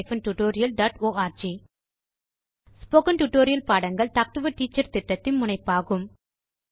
001016 001014 spoken tutorial பாடங்கள் talk to a teacher திட்டத்தின் முனைப்பாகும்